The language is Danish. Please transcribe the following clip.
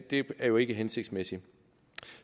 det er jo ikke hensigtsmæssigt